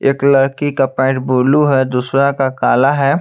एक लड़की का पैंट ब्लू है दूसरा का काला है।